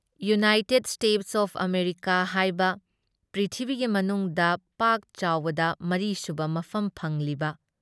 United States of America ꯍꯥꯏꯕ, ꯄ꯭ꯔꯤꯊꯤꯕꯤꯒꯤ ꯃꯅꯨꯡꯗ ꯄꯥꯛꯆꯥꯎꯕꯗ ꯃꯔꯤꯁꯨꯕ ꯃꯐꯝ ꯐꯪꯂꯤꯕ,